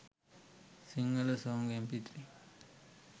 sinhala song mp3